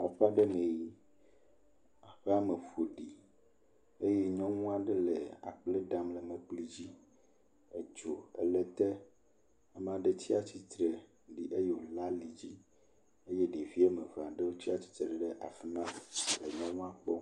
Aƒe aɖe li, aƒea me ƒoɖi eye nyɔnu aɖe le akple ɖam le mlekpui dzi, edzo le ete, ame aɖe tsia atsitre ɖi ɖe eyome la li dzi eye ɖevi eve aɖewo tsi atsitre ɖe afi ma le nyɔnua kpɔm.